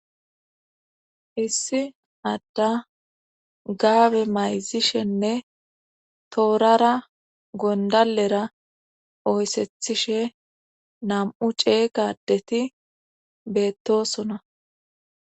issi adda gaabe mayzishenne toorara gondalera oyssethishe nam7u cee ga adeti beettosona